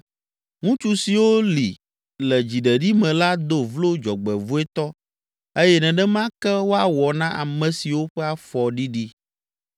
Ŋutsu siwo li le dziɖeɖi me la do vlo dzɔgbevɔ̃etɔ eye nenema ke woawɔ na ame siwo ƒe afɔ ɖiɖi.